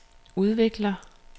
udvikler